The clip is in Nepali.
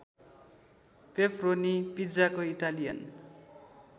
पेपरोनी पिज्जाको इटालियन